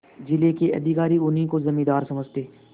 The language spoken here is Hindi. जिले के अधिकारी उन्हीं को जमींदार समझते